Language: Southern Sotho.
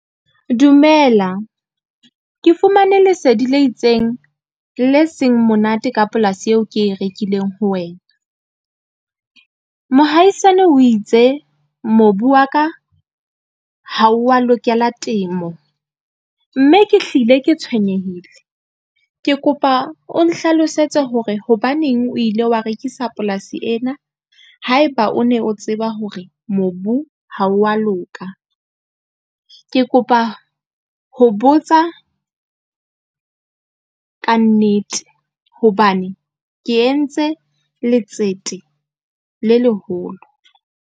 Dumela, ke fumane lesedi le itseng le seng monate ka polasi eo ke e rekileng ho wena. Mohaisane o itse mobu wa ka ha wa lokela temo, mme ke hlile ke tshwenyehile ke kopa o nhlalosetse hore hobaneng o ile wa rekisa polasi ena, haeba o ne o tseba hore mobu ha wa loka. Ke kopa ho botsa kannete hobane ke entse letsete le leholo.